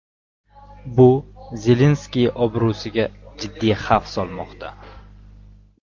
Bu Zelenskiy obro‘siga jiddiy xavf solmoqda.